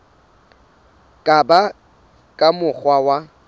ka ba ka mokgwa wa